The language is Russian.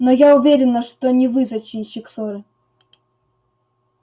но я уверена что не вы зачинщик ссоры